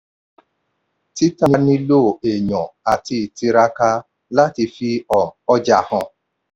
títà nilo èèyàn àti ìtiraka láti fi um ọjà hàn.